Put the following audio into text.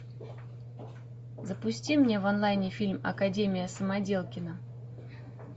запусти мне в онлайне фильм академия самоделкина